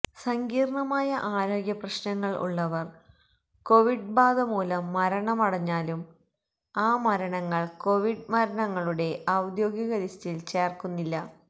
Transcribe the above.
സങ്കീർണ്ണമായ ആരോഗ്യ പ്രശ്നങ്ങൾ ഉള്ളവർ കോവിഡ് ബാധമൂലം മരണമടഞ്ഞാലും ആ മരണങ്ങൾ കോവിഡ് മരണങ്ങളുടെ ഔദ്യോഗിക ലിസ്റ്റിൽ ചേർക്കുന്നില്ല